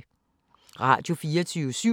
Radio24syv